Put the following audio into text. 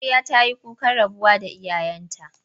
Amarya ta yi kukan rabuwa da iyayenta.